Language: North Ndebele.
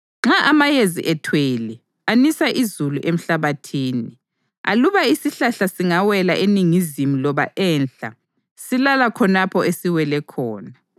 Nxa amayezi ethwele, anisa izulu emhlabathini. Aluba isihlahla singawela eningizimu loba enhla, silala khonapho esiwele khona.